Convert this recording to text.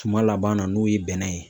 Suma laban na n'o ye bɛnɛ ye.